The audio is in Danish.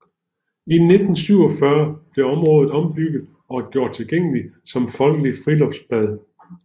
I 1947 blev området ombygget og gjort tilgængeligt som folkelig friluftsbad